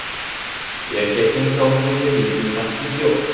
Erkakning sog‘lig‘iga jiddiy tahdid yo‘q.